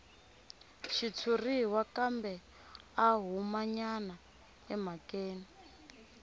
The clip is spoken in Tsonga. xitshuriwa kambe a humanyana emhakeni